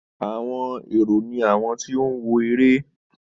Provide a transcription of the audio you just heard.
Àwọn èrò ni àwọn tí ó ń wo eré